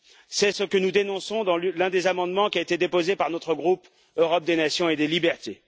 C'est ce que nous dénonçons dans l'un des amendements qui a été déposé par notre groupe Europe des Nations et des Libertés.